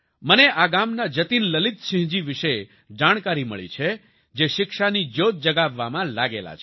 મને આ ગામના જતિન લલિત સિંહ જી વિશે જાણકારી મળી છે જે શિક્ષાની જ્યોત જગાવવામાં લાગેલા છે